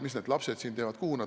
Mis need lapsed siin teevad?